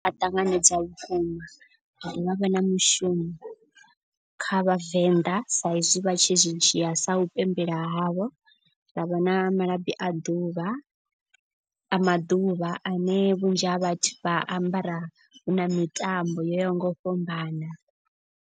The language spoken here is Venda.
Ṱanganedza vhukuma ha dovha ha vha na mushumo kha vhavenḓa sa izwi vha tshi zwi dzhia sa u pembela havho. Ra vha na malabi a ḓuvha a maḓuvha ane vhunzhi ha vhathu vha ambara hu na mitambo yo yaho nga u fhambana.